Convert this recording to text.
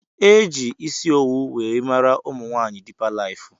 Eji isi owu wee maara umunwaanyi dipa lifu.